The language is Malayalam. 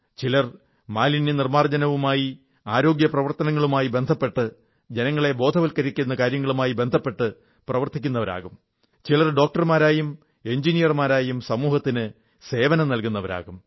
ചിലർ മാലിന്യനിർമ്മാർജ്ജനവുമായി ആരോഗ്യപ്രവർത്തനങ്ങളുമായി ബന്ധപ്പെട്ട് ജനങ്ങളെ ബോധവത്കരിക്കുന്ന കാര്യങ്ങളുമായി ബന്ധപ്പെട്ടു പ്രവർത്തിക്കുന്നവരാകും ചിലർ ഡോക്ടർമാരായും എഞ്ചിനീയർമാരായും സമൂഹത്തിനു സേവനമേകുന്നവരാകും